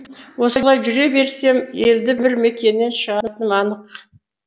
осылай жүре берсем елді бір мекеннен шығатыным анық